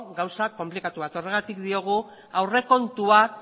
gauza konplikatu bat horregatik diogu aurrekontuak